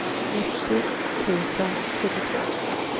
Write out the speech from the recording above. nittio tusen sjuttiotvå